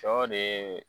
Sɔ de